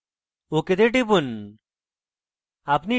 ok তে টিপুন